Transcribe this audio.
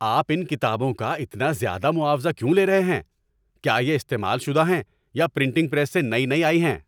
آپ ان کتابوں کا اتنا زیادہ معاوضہ کیوں لے رہے ہیں؟ کیا یہ استعمال شدہ ہیں یا پرنٹنگ پریس سے نئی نئی آئی ہیں؟